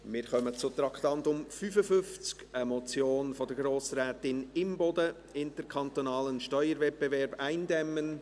Wir kommen zum Traktandum 55, einer Motion von Grossrätin Imboden: «Interkantonalen Steuerwettbewerb eindämmen